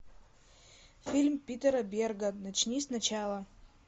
фильм питера берга начни сначала